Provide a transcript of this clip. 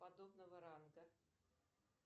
подобного ранга